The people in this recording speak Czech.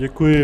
Děkuji.